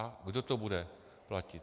A kdo to bude platit?